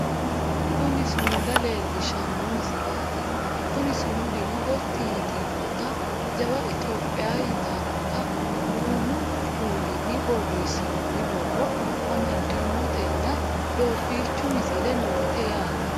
kuni sumuda leellishshano misileeti kuni sumudino gotti yitinota jawa itiyophiya yitannota duumu kuulinni borreessinoonni borro amaddinotenna doobiichu misile noote yaate